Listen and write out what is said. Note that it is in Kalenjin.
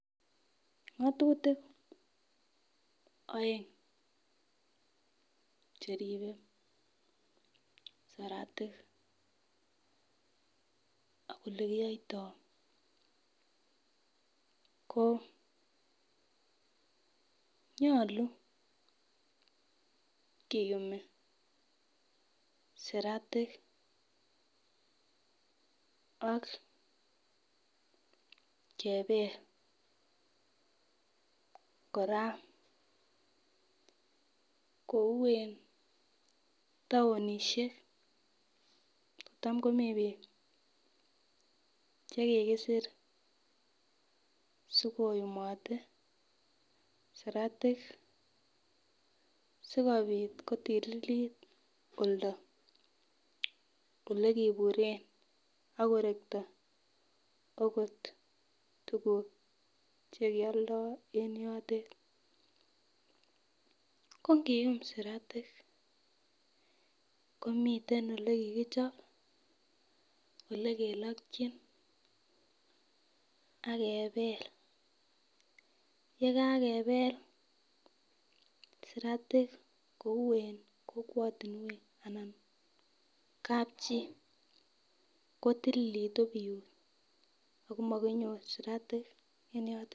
Ngotutik oeng cheribe saratik ak olekiyoito ko nyolu kiyumi sirutik ak kebel koraa kou en townishek kotam komii bik chekikisir aikoyumote sirutik sikopit kotulil oldo olekiburen ak korekto okot tukuk chekioldo en yotet. Ko nkiyum sirutik komiten ole kikochob olekilokin ak kebel yekakebel siratik kou en kokwotunwek anan kapchii kotililitu biut akomokinyor siratik en yotet.